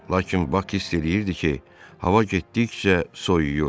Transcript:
Lakin Bak hiss eləyirdi ki, hava getdikcə soyuyur.